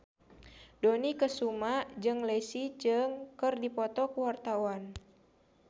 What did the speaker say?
Dony Kesuma jeung Leslie Cheung keur dipoto ku wartawan